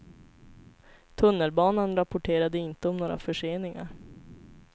Tunnelbanan rapporterade inte om några förseningar.